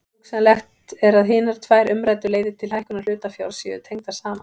Hugsanlegt er að hinar tvær umræddu leiðir til hækkunar hlutafjár séu tengdar saman.